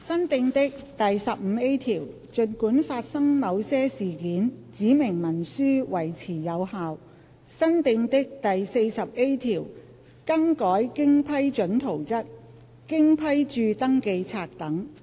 新訂的第 15A 條儘管發生某些事件，指明文書維持有效新訂的第 40A 條更改經批准圖則、經批註登記冊等。